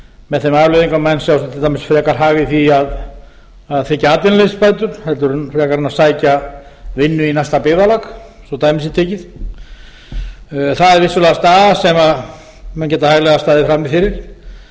með þeim afleiðingum að menn sjá til dæmis frekar hag í því að þiggja atvinnuleysisbætur en að sækja vinnu í næsta byggðarlag svo dæmi sé tekið það er vissulega staða sem menn geta hæglega staðið frammi fyrir